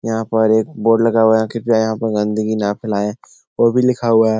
यहां पर एक बोर्ड लगा हुआ है कृपया यहां पर गन्दगी ना फैलाएं ओ भी लिखा हुआ है।